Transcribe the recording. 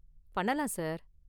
பண்ணலாம் சார்.